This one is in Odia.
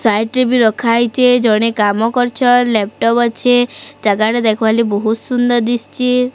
ସାଇଟ ରେ ବି ରଖା ହେଇଛେ। ଜଣେ କାମ କରୁଛନ। ଲାପଟପ୍ ଅଛେ। ଜାଗାଟା ଦେଖି ବାକୁ ବହୁତ ସୁନ୍ଦର ଦିଶୁଛେ।